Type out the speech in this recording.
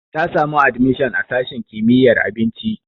Ta samu admishon a sashin jinya.